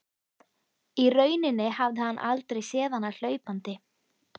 Í rauninni hafði hann aldrei séð hana hlaupandi.